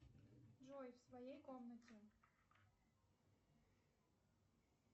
джой в своей комнате